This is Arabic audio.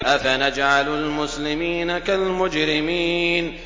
أَفَنَجْعَلُ الْمُسْلِمِينَ كَالْمُجْرِمِينَ